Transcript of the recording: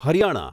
Haryana